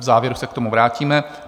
V závěru se k tomu vrátíme.